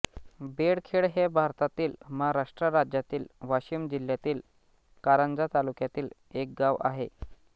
बेळखेड हे भारतातील महाराष्ट्र राज्यातील वाशिम जिल्ह्यातील कारंजा तालुक्यातील एक गाव आहे